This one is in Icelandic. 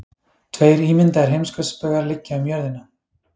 tveir ímyndaðir heimskautsbaugar liggja um jörðina